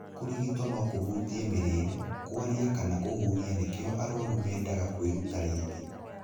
Kũrigito no kũhũtie mĩrĩre, kwaria kana kũhuhia nĩkio aruaru nĩmendaga kwĩruta rĩngĩ.